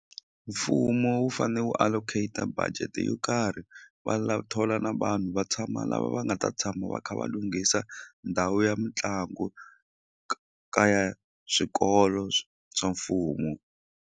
Mfumo wu fane wu allocate budget yo karhi va thola na vanhu va tshama lava va nga ta tshama va kha va lunghisa ndhawu ya mitlangu ka ya swikolo swa mfumo.